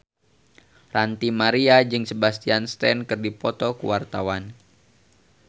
Ranty Maria jeung Sebastian Stan keur dipoto ku wartawan